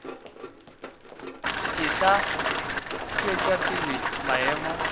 e tla tšwetša pele maemo